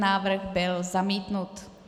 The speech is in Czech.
Návrh byl zamítnut.